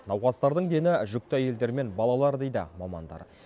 науқастардың дені жүкті әйелдер мен балалар дейді мамандар